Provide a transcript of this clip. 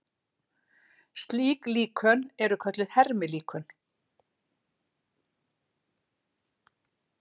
Slík líkön eru kölluð hermilíkön.